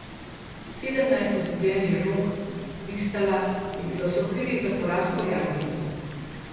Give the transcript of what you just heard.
Sedemnajst izgubljenih žog Vistala je bilo sokrivih za poraz Poljakinj.